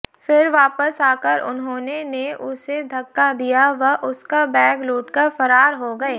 फिर वापस आकर उन्होंने ने उसे धक्का दिया व उसका बैग लूटकर फरार हो गए